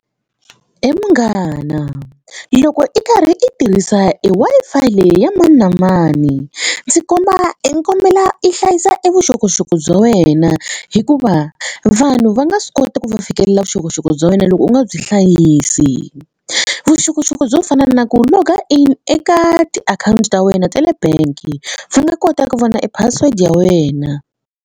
He munghana loko i karhi i tirhisa e Wi-Fi leyi ya mani na mani ndzi komba i kombela i hlayisa e vuxokoxoko bya wena hikuva vanhu va nga swi kota ku va fikelela vuxokoxoko bya wena loko u nga byi hlayisi vuxokoxoko byo fana na ku loga in eka tiakhawunti ta wena ta le bank va nga kota ku vona e password ya wena.